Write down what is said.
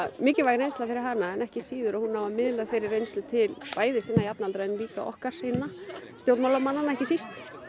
mikilvæg reynsla fyrir hana en ekki síður að hún nái að miðla þeirri reynslu til bæði sinna jafnaldra en líka okkar hinna stjórnmálamannanna ekki síst